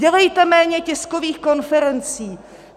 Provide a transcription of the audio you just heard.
Dělejte méně tiskových konferencí!